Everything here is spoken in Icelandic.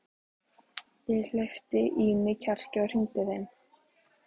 Ég hleypti í mig kjarki og hringdi heim.